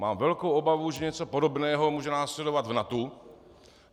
Mám velkou obavu, že něco podobného může následovat v NATO.